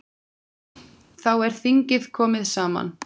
Þá er þingið komið saman.